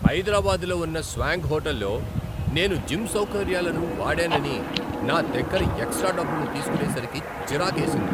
హైదరాబాద్లో ఉన్న స్వాంక్ హోటల్లో నేను జిమ్ సౌకర్యాలను వాడానని నా దగ్గర ఎక్స్ట్రా డబ్బులు తీసుకునేసరికి చిరాకేసింది.